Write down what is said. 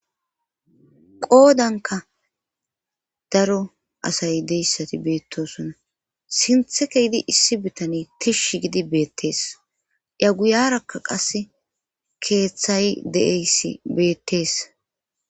qoodanka daro asay deyssati beettosona sinthe ke idi issi bitani tishsh gidi beettees iya guyarakka qase keeththay de7eyssi beettees